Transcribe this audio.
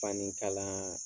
Fani kala